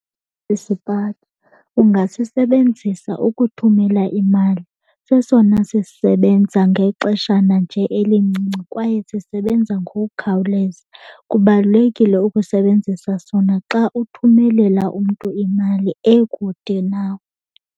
ungasisebenzisa ukuthumela imali. Sesona sisebenza ngexeshana nje elincinci kwaye sisebenza ngokukhawuleza. Kubalulekile ukusebenzisa sona xa uthumelela umntu imali ekude nawe.